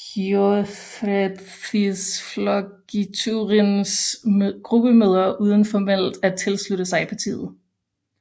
Þjóðræðisflokkurinns gruppemøder uden formelt at tilslutte sig partiet